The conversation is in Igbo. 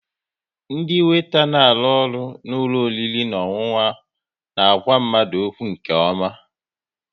Ndị weeta na arụ n'ụlọ oriri na ọṅụṅụ na àgwà mmadụ okwu nke ọma